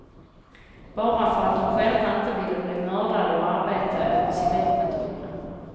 Bara för att de själva inte ville bli mördare och arbeta åt civilpatrullen.